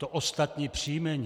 To ostatní příjmení.